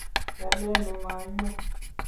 kialeni mainyo